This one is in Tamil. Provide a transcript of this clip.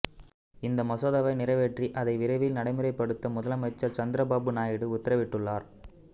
இந்த மசோதாவை நிறைவேற்றி அதை விரையில் நடைமுறைப்படுத்த முதலமைச்சர் சந்திர பாபு நாயுடு உத்தரவிட்டுள்ளார்